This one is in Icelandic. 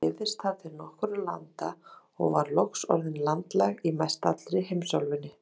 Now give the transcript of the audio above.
Hún dreifðist þar til nokkurra landa og var loks orðin landlæg í mestallri heimsálfunni.